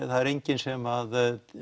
það er enginn sem